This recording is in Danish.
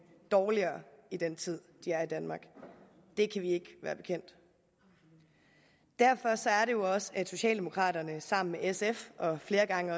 dårligere i den tid de er i danmark det kan vi ikke være bekendt derfor er det også sådan at socialdemokraterne sammen med sf og flere gange